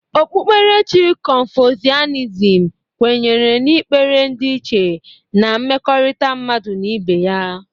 Okpukperechi kọnfọsianịzm kwenyere n'ikpere ndịiche na mmekọrita mmadụ na ibe ya.